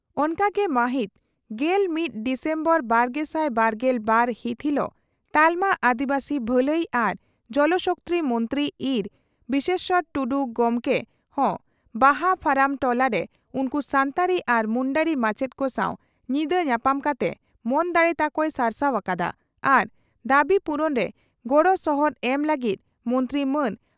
ᱚᱱᱠᱟᱜᱮ ᱢᱟᱹᱦᱤᱛ ᱜᱮᱞ ᱢᱤᱛ ᱰᱤᱥᱮᱢᱵᱚᱨ ᱵᱟᱨᱜᱮᱥᱟᱭ ᱵᱟᱨᱜᱮᱞ ᱵᱟᱨ ᱦᱤᱛ ᱦᱤᱞᱚᱜ ᱛᱟᱞᱢᱟ ᱟᱹᱫᱤᱵᱟᱹᱥᱤ ᱵᱷᱟᱹᱞᱟᱹᱭ ᱟᱨ ᱡᱚᱞ ᱥᱚᱠᱛᱤ ᱢᱚᱱᱛᱨᱤ ᱤᱨᱹ ᱵᱤᱥᱮᱥᱚᱨ ᱴᱩᱰᱩ ᱜᱚᱢᱠᱮ ᱦᱚᱸ ᱵᱟᱦᱟ ᱯᱷᱟᱨᱟᱢ ᱴᱚᱞᱟᱨᱮ ᱩᱱᱠᱩ ᱥᱟᱱᱛᱟᱲᱤ ᱟᱨ ᱢᱩᱱᱰᱟᱹᱨᱤ ᱢᱟᱪᱮᱛ ᱠᱚ ᱥᱟᱣ ᱧᱤᱫᱟᱹ ᱧᱟᱯᱟᱢ ᱠᱟᱛᱮ ᱢᱚᱱ ᱫᱟᱲᱮ ᱛᱟᱠᱚᱭ ᱥᱟᱨᱥᱟᱣ ᱟᱠᱟᱫᱼᱟ ᱟᱨ ᱫᱟᱵᱤ ᱯᱩᱨᱩᱱᱨᱮ ᱜᱚᱲᱚ ᱥᱚᱦᱚᱫ ᱮᱢ ᱞᱟᱹᱜᱤᱫ ᱢᱚᱱᱛᱨᱤ ᱢᱟᱱ